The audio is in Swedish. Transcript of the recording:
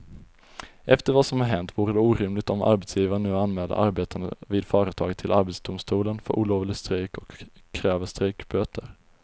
Efter vad som har hänt vore det orimligt om arbetsgivaren nu anmäler arbetarna vid företaget till arbetsdomstolen för olovlig strejk och kräver strejkböter.